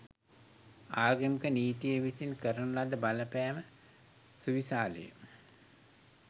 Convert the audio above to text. ආගමික නීතිය විසින් කරන ලද බලපෑම සුවිශාලය.